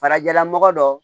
Farajɛlamɔgɔ dɔ